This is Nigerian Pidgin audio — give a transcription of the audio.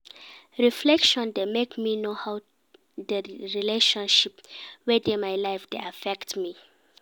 Reflection dey make me know how di relationships wey dey my life dey affect me.